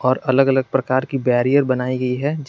और अलग अलग प्रकार की बैरियर बनाई गई है।